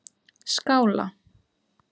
Skála